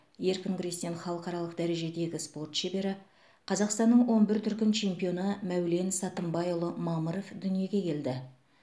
еркін күрестен халықаралық дәрежедегі спорт шебері қазақстанның он бір дүркін чемпионы мәулен сатымбайұлы мамыров дүниеге келді